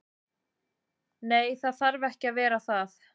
Nei, það þarf ekki að vera það.